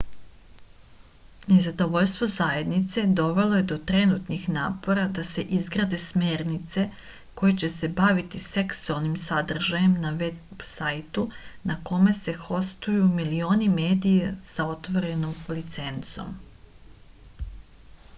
nezadovoljstvo zajednice dovelo je do trenutnih napora da se izrade smernice koje će se baviti seksualnim sadržajem na veb sajtu na kome se hostuju milioni medija sa otvorenom licencom